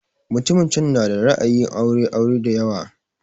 Mutumin can na da ra'ayin aure aure da yawa